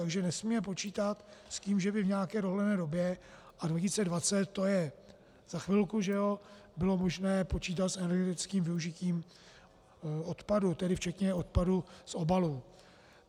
Takže nesmíme počítat s tím, že by v nějaké dohledné době - a 2020, to je za chvilku, že ano - bylo možné počítat s energetickým využitím odpadu, tedy včetně odpadu z obalů.